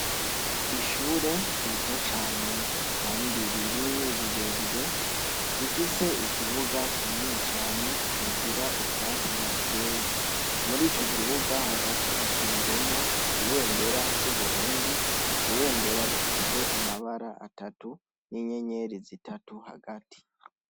Ishure ryiza Cane Kandi rinini rirerire, rifise ikibuga kinini cane, Kigali gira ubwatsi murico kibuga Hagati hashinze ibendera ryu Burundi ibendera rifise amabara atatu ninyenyeri zitatu Hagati.